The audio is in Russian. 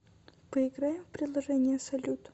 поиграем в приложение салют